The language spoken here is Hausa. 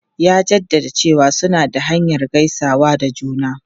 Ya jaddada cewa suna da hanyar gaisawa da juna.